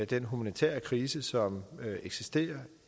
den humanitære krise som eksisterer